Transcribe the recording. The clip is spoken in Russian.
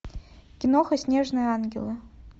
киноха снежные ангелы